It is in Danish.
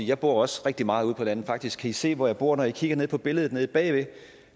jeg bor også rigtig meget ude på landet faktisk kan i se hvor jeg bor når i kigger ned på billedet nede bagved